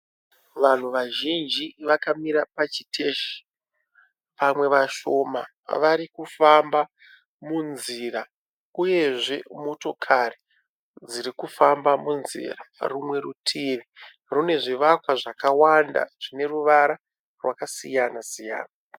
Vanhu vazhinji vakamira pachiteshi, pamwe vashona vari kufamba munzira, uyezve motokari dziri kufamba munzira. Rumwe rutivi rune zvivakwa zvakawanda zvine ruvara rwakasiyana siyana.